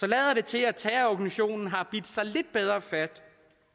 lader det til at terrororganisationen har bidt sig lidt bedre fast